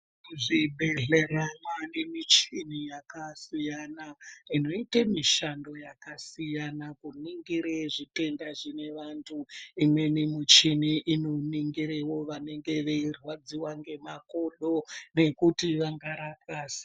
Kuzvibhedhlera mwaane michini yakasiyana inoite mishando yakasiyana kuningire zvitenda zvine vantu imweni michini inoningirewo vanenge vei rwadziwa ngemakodo nekuti vanga rapwa se.